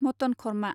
mutton खरमा